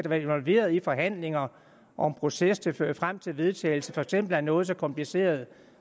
været involveret i forhandlinger og en proces der fører frem til vedtagelsen for eksempel af noget så kompliceret